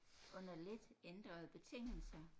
Under lidt ændrede betingelser